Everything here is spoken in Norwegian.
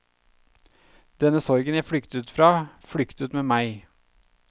Denne sorgen jeg flyktet fra, flyktet med meg.